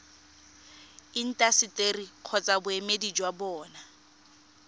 intaseteri kgotsa boemedi jwa bona